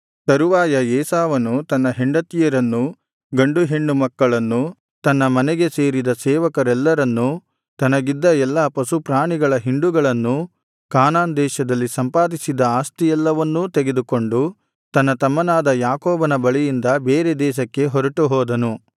ತರುವಾಯ ಏಸಾವನು ತನ್ನ ಹೆಂಡತಿಯರನ್ನೂ ಗಂಡುಹೆಣ್ಣು ಮಕ್ಕಳನ್ನೂ ತನ್ನ ಮನೆಗೆ ಸೇರಿದ ಸೇವಕರೆಲ್ಲರನ್ನೂ ತನಗಿದ್ದ ಎಲ್ಲಾ ಪಶುಪ್ರಾಣಿಗಳ ಹಿಂಡುಗಳನ್ನೂ ಕಾನಾನ್ ದೇಶದಲ್ಲಿ ಸಂಪಾದಿಸಿದ್ದ ಆಸ್ತಿಯೆಲ್ಲವನ್ನೂ ತೆಗೆದುಕೊಂಡು ತನ್ನ ತಮ್ಮನಾದ ಯಾಕೋಬನ ಬಳಿಯಿಂದ ಬೇರೆ ದೇಶಕ್ಕೆ ಹೊರಟುಹೋದನು